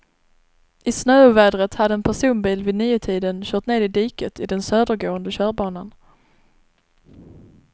I snöovädret hade en personbil vid niotiden kört ned i diket i den södergående körbanan.